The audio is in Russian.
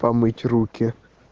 помыть руки